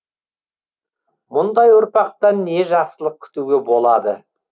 мұндай ұрпақтан не жақсылық күтуге болады